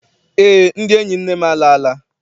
Eé, ndị enyi nne m alala.